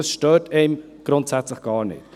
Das stört einen grundsätzlich gar nicht.